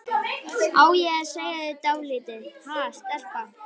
Á ég að segja þér dálítið, ha, stelpa?